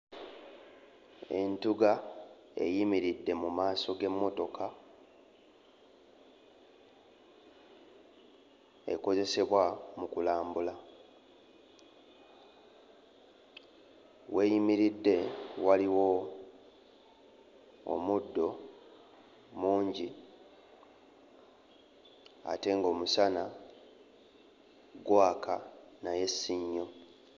Entugga eyimiridde mu maaso g'emmotoka ekozesebwa mu kulambula w'eyimiridde waliwo omuddo mungi ate ng'omusana gwaka naye si nnyo.